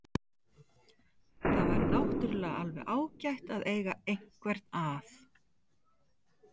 Það væri náttúrulega alveg ágætt að eiga einhvern að.